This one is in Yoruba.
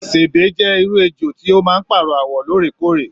Sèbé jẹ irú ejò tí o máa n paarọ awọ lóòrèkóòrè.